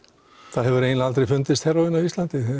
það hefur eiginlega aldrei fundist heróín á Íslandi